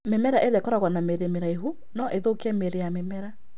Mĩmera ĩrĩa ĩkoragwo na mĩri mĩraihu no ĩthũkie mĩri ya mĩmera